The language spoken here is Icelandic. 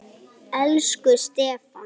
Elsku Stefán.